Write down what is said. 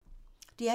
DR P3